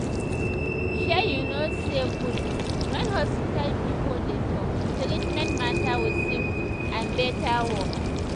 shey you no saye good when hospital pipo dey talk treatment matter with simple and better words